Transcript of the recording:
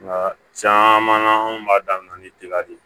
Nka caman na anw b'a daminɛ ni dila de ye